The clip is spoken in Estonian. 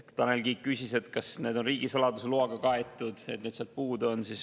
Tanel Kiik küsis, kas need on riigisaladuse loaga kaetud, et need sealt puudu on.